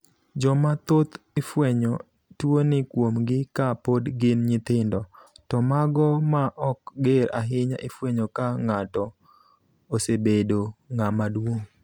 Joma thoth ifwenyo tuo ni kuom gi ka pod gin nyithindo, to mago ma ok ger ahinya ifwenyo ko ng'ato osebedo ng'ama duong'.